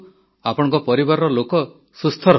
ଆପଣଙ୍କ ପରିବାରର ଲୋକ ସୁସ୍ଥ ରୁହନ୍ତୁ